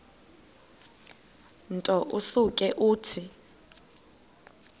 nto usuke uthi